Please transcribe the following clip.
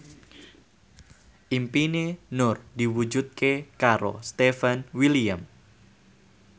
impine Nur diwujudke karo Stefan William